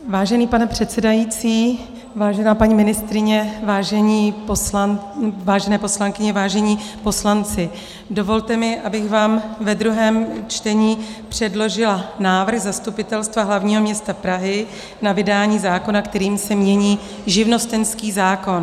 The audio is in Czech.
Vážený pane předsedající, vážená paní ministryně, vážené poslankyně, vážení poslanci, dovolte mi, abych vám ve druhém čtení předložila návrh Zastupitelstva hlavního města Prahy na vydání zákona, kterým se mění živnostenský zákon.